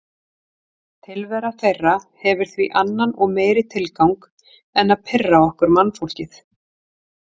Tilvera þeirra hefur því annan og meiri tilgang en að pirra okkur mannfólkið.